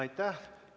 Aitäh!